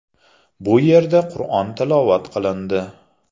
Bu yerda Qur’on tilovat qilindi.